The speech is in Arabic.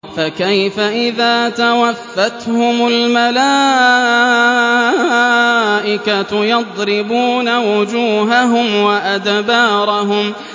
فَكَيْفَ إِذَا تَوَفَّتْهُمُ الْمَلَائِكَةُ يَضْرِبُونَ وُجُوهَهُمْ وَأَدْبَارَهُمْ